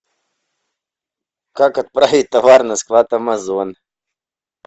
как отправить товар на склад амазон